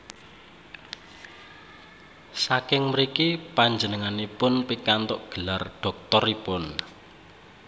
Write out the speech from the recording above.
Saking mriki panjenenganipun pikantuk gelar dhoktoripun